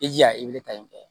I jija i bɛ wele ta in fɛ